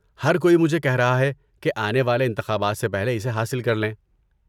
ہر کوئی مجھے کہہ رہا ہے کہ آنے والے انتخابات سے پہلے اسے حاصل کر لیں۔